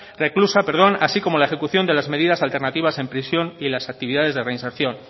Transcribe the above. reclusa así como la ejecución de las medidas alternativas en prisión y las actividades de reinserción